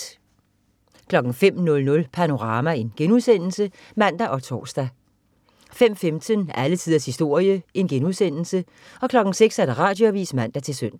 05.00 Panorama* (man og tors) 05.15 Alle tiders historie* 06.00 Radioavis (man-søn)